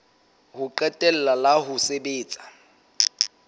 ho qetela la ho sebetsa